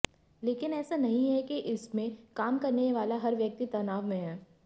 लेकिन ऐसा नहीं है कि इसमें काम करने वाला हर व्यक्ति तनाव में है